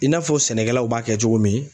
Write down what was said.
I n'a fɔ sɛnɛkɛlaw b'a kɛ cogo min.